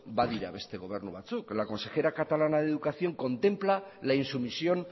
badira beste gobernu batzuk la consejera catalana de educación contempla la insumisión